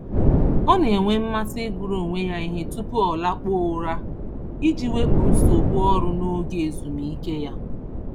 Ọ na-enwe mmasị ịgụrụ onwe ya ihe tupu ọ lakpuo ụra iji wepụ nsogbu ọrụ n'oge ezumike ya.